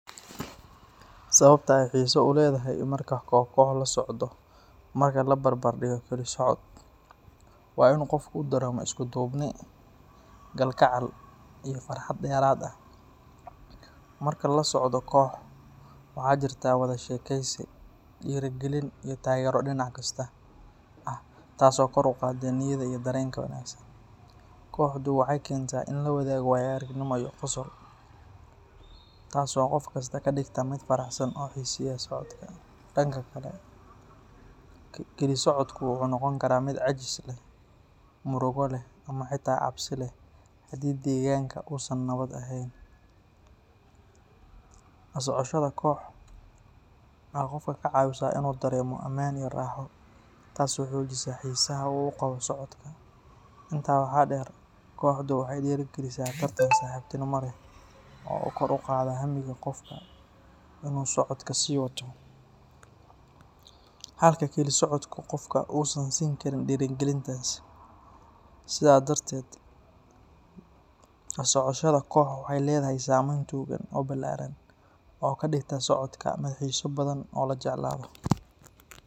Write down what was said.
Sababta ay xiso u leedahay marka koox koox la socdo marka la barbar dhigo keli socod waa in qofku uu dareemo isku duubni, kalgacal iyo farxad dheeraad ah. Marka la socdo koox, waxaa jirta wada sheekeysi, dhiirrigelin iyo taageero dhinac kasta ah taas oo kor u qaadda niyadda iyo dareenka wanaagsan. Kooxdu waxay keentaa in la wadaago waayo-aragnimo iyo qosol, taasoo qof kasta ka dhigta mid faraxsan oo xiiseeya socodka. Dhanka kale, keli socodku wuxuu noqon karaa mid caajis leh, murugo leh ama xitaa cabsi leh haddii deegaanka uusan nabad ahayn. La socoshada koox waxay qofka ka caawisaa in uu dareemo ammaan iyo raaxo, taasoo xoojisa xiisaha uu u qabo socodka. Intaa waxaa dheer, kooxdu waxay dhiirrigelisaa tartan saaxiibtinimo leh oo kor u qaada hamiga qofka in uu socodka sii wato, halka keli socodku qofka uusan siin karin dhiirrigelintaas. Sidaa darteed, la socoshada koox waxay leedahay saameyn togan oo ballaaran oo ka dhigta socodka mid xiiso badan oo la jeclaado.